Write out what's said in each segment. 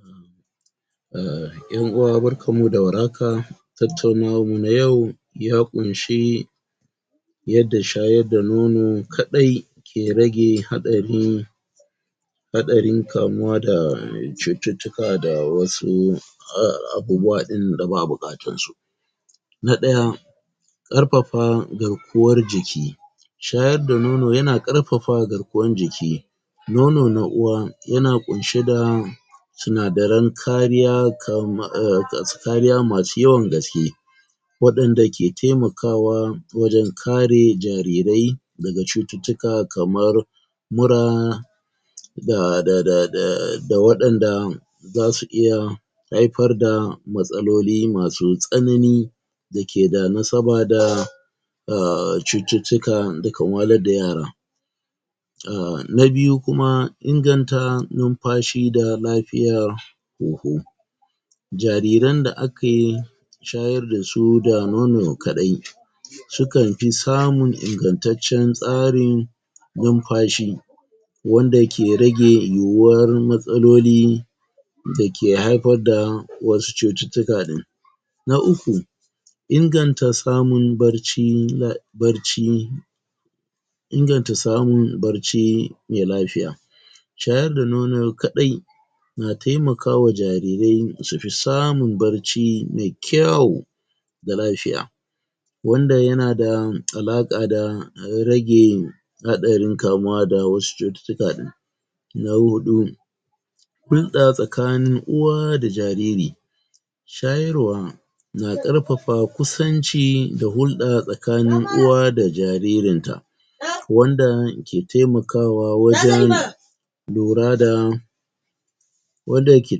? Ƴan'uwa barkanmu da warhaka.? Tattaunawarmu na yau, ya ƙunshi,? yadda shayar da nono kaɗai,? ke rage haɗarin,? haɗarin kamuwa da cututtuka da wasu, abubuwa ɗin da ba a buƙatarsu.? Na ɗaya. ?Ƙ Ƙarfafa garkuwar jiki.? Shayar da nono ya na ƙarfafa garkuwar jiki.? Nono na uwa, ya na ƙunshe da,? sinadaran kariya,? kariya masu yawan gaske,? waɗanda ke taimakawa, wajan kare jarirai, daga cututtuka kamar,? mura,?? da waɗanda, za su iya,? haifar fa matsaloli masu tsanani,? da ke da nasaba da,? da cututtukan da kan wahalar da yara.? Na biyu kuma, inganta lomfashi da lafiyar,? huhu. Jariran da ake,? shayar da su da nono kaɗai,? sukanfi samun ingantaccen tsarin,? lunfashi, wanda ke rage yuwawar matsaloli,? da ke haifar fa wasu cututtuka ɗin.? Na uku. Inganta samun barci, barci,? inganta samun barci, mai lafiya.? Shayar da nono kaɗai,? na taimakawa jarirar su fi samun barci mai kyau,? da lafiya,? wanda ya na da alaƙa da rage,? haɗarin kamuwa da wasu cututtuaka ɗin.? Na huɗu.? hulɗa tsakanin uwa da jariri.? Shayarwa,? na ƙarfafa kusanci da hulɗa tsakanin uwa da jaririnta,? wanda ke taimakawa wajan,? lura da, wanda ke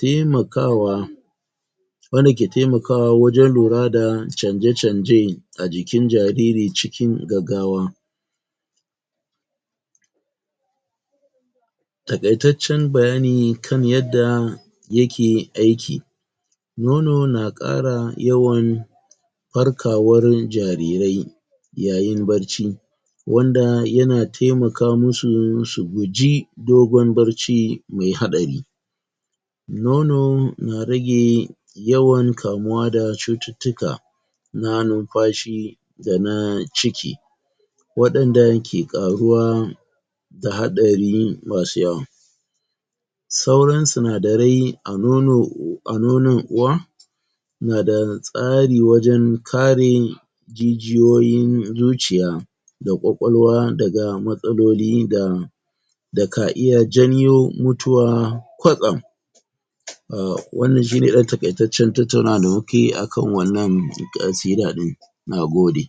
taimakawa,? wanda ke taimakawa wajan lora da canje-canje, a jikin jariri cikin gaggawa.? Taƙaitaccen bayani kan yadda,? ya ke aiki.? Nono na ƙara yawan farkawar, farkawar jarirai,? yayin barci,? wanda ya na taimakamusu su guji, dogon barci mai haɗari.? Nono na rage, yawan kamuwa da cututtuka,? na numfashi,? da na ciki,? waɗanda ke ƙaruwa,? da haɗari masu yawa.? Sauran sinadarai a nono, a nonon uwa,? na da tsari wajan kare,? jijiyoyin zuciya,? da ƙwaƙwalwa daga matsaloli da,? da ka iya janyo mutuwa kwatsam.? Wanna shi ne ɗan taƙaitaccen tattaunawa da mu ka yi akan ƙasida ɗin. Na gode.